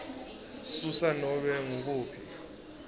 susa nobe ngukuphi